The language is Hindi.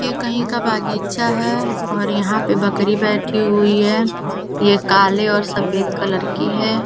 ये कहीं का बागीचा है और यहाँ पे बकरी बैठी हुई है ये काले और सफ़ेद कलर की है।